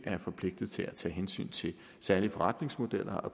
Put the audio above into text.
er forpligtet til at tage hensyn til særlige forretningsmodeller og